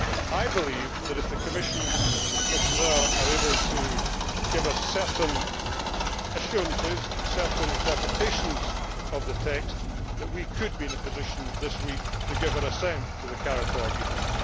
I believe that, if the Commission and the Commissioner are able to give us certain assurances and certain interpretations of the text, we could be in a position this week to give our assent to the Cariforum EPA.